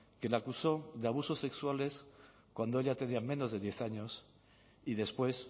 que le acusó de abusos sexuales cuando ella tenía menos de diez años y después